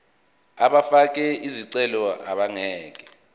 abafake izicelo abangeke